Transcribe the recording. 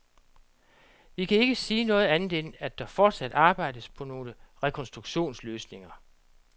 Vi kan ikke sige andet end, at der fortsat arbejdes på nogle rekonstruktionsløsninger.